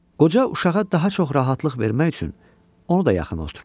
Qoca uşağa daha çox rahatlıq vermək üçün onu da yaxınına oturtddu.